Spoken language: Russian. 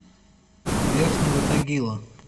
верхнего тагила